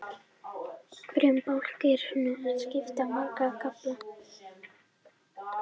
Hverjum bálki er svo skipt í marga kafla.